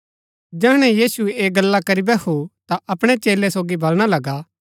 जैहणै यीशु ऐह गल्ला करी बैहु ता अपणै चेलै सोगी बलणा लगा